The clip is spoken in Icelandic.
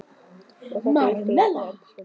Og er þetta virkilega að fara að enda svona?